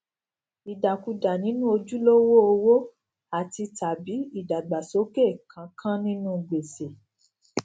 ìdàkudà nínú ojulowó owo àtitàbí ìdàgbàsókè kánkán nínú gbèsè